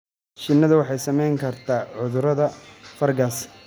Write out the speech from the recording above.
Shinnidu waxay saameyn kartaa cudurada fangas.